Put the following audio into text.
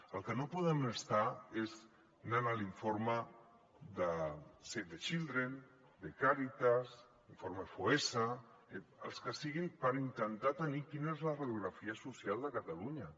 el que no podem estar és anant a l’informe de save the children de càritas l’informe foessa els que siguin per intentar tenir quina és la radiografia social de catalunya